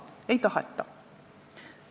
Ei taheta!